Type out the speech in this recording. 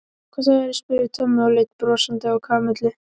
Hvað sagðirðu? spurði Tommi og leit brosandi á Kamillu.